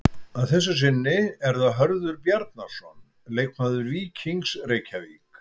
Að þessu sinni er það Hörður Bjarnason leikmaður Víkings Reykjavík.